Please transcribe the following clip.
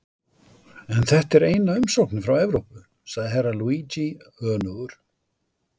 En þetta er eina umsóknin frá Evrópu, sagði Herra Luigi önugur.